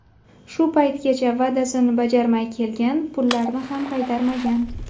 shu paytgacha va’dasini bajarmay kelgan, pullarni ham qaytarmagan.